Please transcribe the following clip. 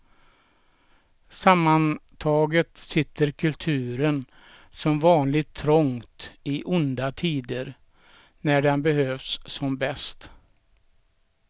Sammantaget sitter kulturen som vanligt trångt i onda tider, när den behövs som bäst.